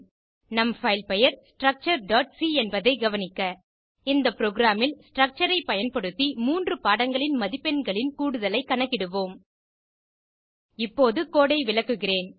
நம் fileபெயர் structureசி என்பதை கவனிக்க இந்த புரோகிராம் ல் ஸ்ட்ரக்சர் ஐ பயன்படுத்தி 3 பாடங்களின் மதிப்பெண்களின் கூடுதலை கணக்கிடுவோம் இப்போது கோடு ஐ விளக்குகிறேன்